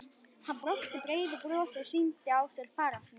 Hann brosti breiðu brosi og sýndi á sér fararsnið.